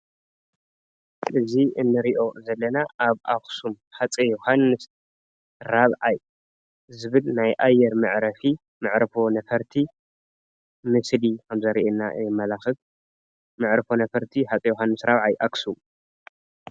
እዚ እንሪኦ ዘለና ኣብ ኣክሱም ሃፀይ ዮዉሃንስ ራብዓይ ዝብል ናይ ኣየር መዕረፊ መዕርፎ ነፈርቲ ምስሊ ከም ዘርእየና የመላኽት። መዕርፎ ነፈርቲ ሃፀይ ዮዉሃንስ ራብዓይ ኣክሱም።